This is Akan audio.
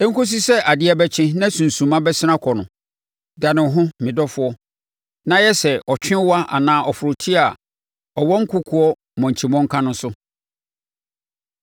Ɛnkɔsi sɛ adeɛ bɛkye na sunsumma bɛsene akɔ no, dane wo ho me dɔfoɔ, na yɛ sɛ ɔtwewa anaa ɔforoteɛ a ɔwɔ nkokoɔ mmɔnkyi mmɔnka no so.